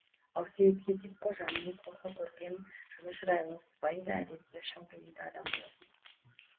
ал сеид хетип қожа мінез құлқы көркем жылы шырайлы сыпайы да әдепті шын пейілді адам болатын